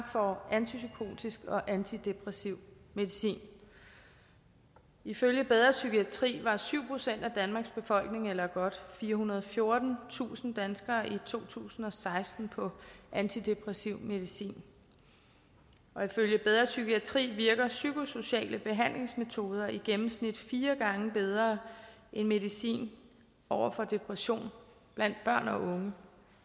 får antipsykotisk og antidepressiv medicin ifølge bedre psykiatri var syv procent af danmarks befolkning eller godt firehundrede og fjortentusind danskere i to tusind og seksten på antidepressiv medicin og ifølge bedre psykiatri virker psykosociale behandlingsmetoder i gennemsnit fire gange bedre end medicin over for depressioner blandt børn og unge